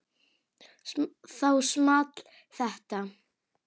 Þá small þetta